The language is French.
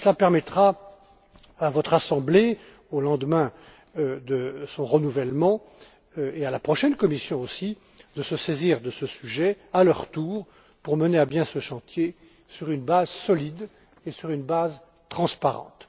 Cela permettra à votre assemblée, au lendemain de son renouvellement, et à la prochaine Commission aussi, de se saisir de ce sujet à leur tour pour mener à bien ce chantier sur une base solide et sur une base transparente.